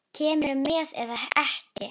Kemurðu með eða ekki.